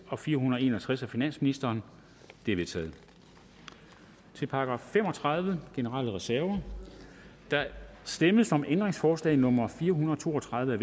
og fire hundrede og en og tres af finansministeren de er vedtaget til § fem og tredive generelle reserver der stemmes om ændringsforslag nummer fire hundrede og to og tredive af